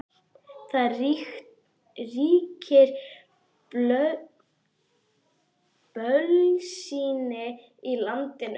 Og það ríkir bölsýni í landinu.